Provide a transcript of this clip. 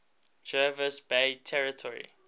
jervis bay territory